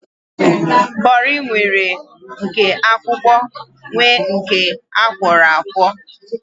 Kọri nwere nke akwụkwọ nwee nke akwọro akwọ